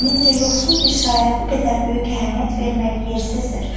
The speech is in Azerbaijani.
Zənnimcə yoxsul bir şairə bu qədər böyük əhəmiyyət verməyi yersizdir.